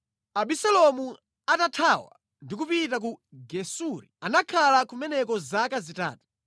Abisalomu atathawa ndi kupita ku Gesuri, anakhala kumeneko zaka zitatu.